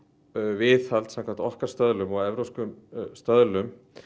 viðhald samkvæmt okkar stöðlum og evrópskum stöðlum